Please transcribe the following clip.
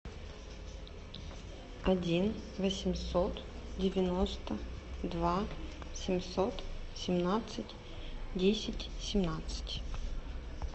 один восемьсот девяносто два семьсот семнадцать десять семнадцать